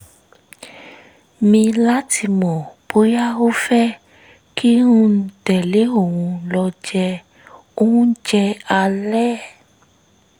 mi láti mọ̀ bóyá ó fẹ́ kí n tẹ̀lé òun lọ jẹ oúnjẹ alẹ́